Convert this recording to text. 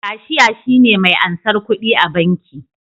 Kashiya shine me ansar kudi a banki